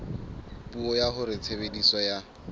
puo ya hore tshebediso ya